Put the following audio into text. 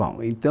Bom, então...